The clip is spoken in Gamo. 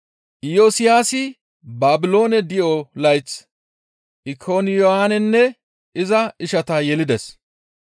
Iyosiyaasi Baabiloone di7o layth Ikoniyaanenne iza ishata yelides.